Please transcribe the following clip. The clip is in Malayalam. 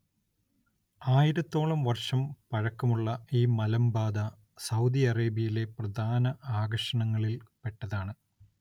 ആയിരത്തോളം വർഷം പഴക്കമുള്ള ഈ മലമ്പാത സൗദി അറേബ്യയിലെ പ്രധാന ആകർഷണങ്ങളിൽ പെട്ടതാണ്.